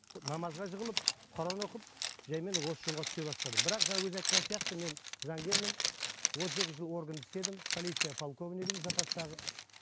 намазға жығылып құран оқып жаймен осы жолға түсе бастадым бірақ жаңа өзің айтқан сияқты мен заңгермін отыз екі жыл органда істедім полиция полковнигімін запастағы